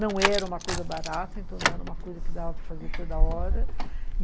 Não era uma coisa barata, então não era uma coisa que dava para fazer toda hora